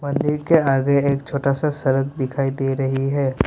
मंदिर के आगे एक छोटा सा सड़क दिखाई दे रही है।